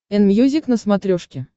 энмьюзик на смотрешке